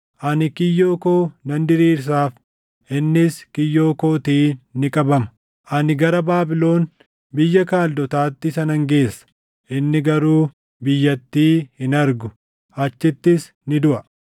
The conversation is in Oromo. Ani kiyyoo koo nan diriirsaaf; innis kiyyoo kootiin ni qabama; ani gara Baabilon, biyya Kaldootaatti isa nan geessa; inni garuu biyyattii hin argu; achittis ni duʼa.